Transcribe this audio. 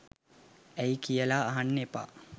ඇයි කියලා අහන්න එපා